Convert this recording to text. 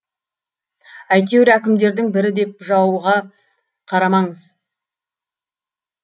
әйтеуір әкімдердің бірі деп жауыға қарамаңыз